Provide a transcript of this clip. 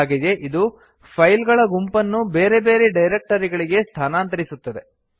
ಹಾಗೆಯೇ ಇದು ಫೈಲ್ ಗಲ ಗುಂಪನ್ನು ಬೇರೆ ಬೇರೆ ಡೈರಕ್ಟರಿಗಳಿಗೆ ಸ್ಥಾನಾಂತರಿಸುತ್ತದೆ